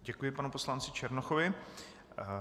Děkuji panu poslanci Černochovi.